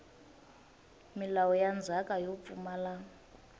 milawu ya ndzhaka yo pfumala